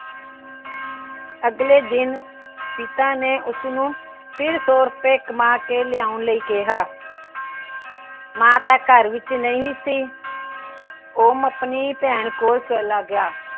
ਅੱਗਲੇ ਦਿਨ ਪਿਤਾ ਨੇ ਉਸਨੂੰ ਫਿਰ ਸੋ ਰੁਪਏ ਕਮਾ ਕੇ ਲਿਆਉਣ ਨੂੰ ਕਿਹਾ। ਮਾਂ ਤਾਂ ਘਰ ਵਿੱਚ ਨਹੀਂ ਸੀ। ਉਹ ਆਪਣੀ ਭੈਣ ਕੋਲ ਚਲਾ ਗਿਆ।